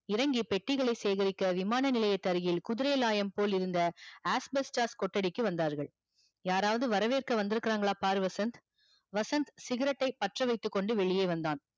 இறங்கி பெட்டிகளை சேகரிக்க விமானநிலையத்து அருகில் குதிரையாளையம் போல் இருந்த கொட்டடைக்கு வந்தார்கள் யாரவது வரவேற்க வந்துயிருகாங்கலா பாரு வசந்த் வசந்த் cigarette டை பற்றவைத்து கொண்டு வெளியே வந்தான்